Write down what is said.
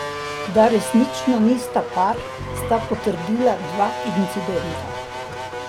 Da resnično nista par, sta potrdila dva incidenta.